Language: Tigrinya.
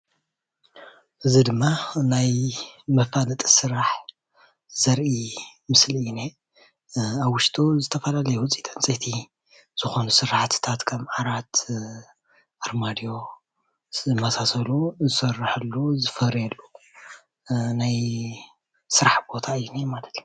እዚ ድማ ናይ መፋለጢ ስራሕ ዘርኢ ምስሊ እኒሄ፡፡ ኣብ ውሽጡ ዝተፈላለዩ ውፂኢት ዕንፀይቲ ዝኮኑ ስራሕቲታት ከም ዓራት ፣ኣርማድዮ ዝመሳሰሉ ዝስረሓሉ ዝፈርየሉ ናይ ስራሕ ቦታ እዩ እኒሄ ማለት እዩ፡፡